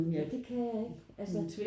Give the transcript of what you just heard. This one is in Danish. Nej det kan jeg ikke altså